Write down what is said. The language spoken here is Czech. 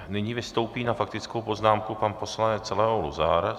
Nyní vystoupí na faktickou poznámku pan poslanec Leo Luzar.